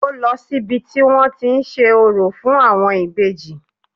Ó lọ sí ibi tí wọ́n tí ń ṣe orò fún àwọn ìbejì